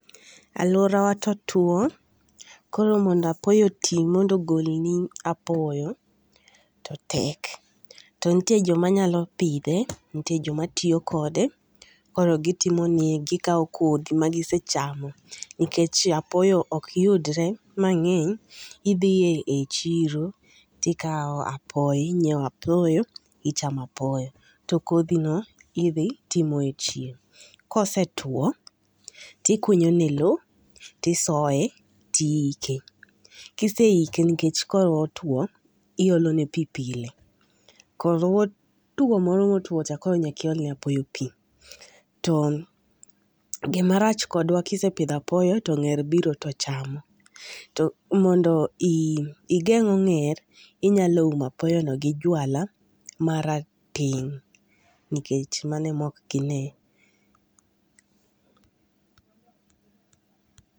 Aluorawa to otwo koro mondo apoyo otii mondo ogolni apoyo to tek. To nitie joma nyao pidhe to nitie joma tiyo kode. Koro gitimo ni, gikawo kodhi magise chamo nikech apoyo ok yudre mang'eny, idhi e chiro to ikawo apoyo ing'iewo apoyo ichamo apoyo to kodhino idhi to imoyo e chieng'. Ka osetuo to ikunyone lowo to isoye ,iyike ka iseike nikech kotwo to iolone pi pile koro two moro motwo cha koro nyaka iol ne apoyo pi. To gima rach kodwa ka isepuro apoyo to ong'er to biro chamo. To mondo i igeng' ong'er inyalo umo apoyono gi jwala marateng' nikech mano ema ok ginee.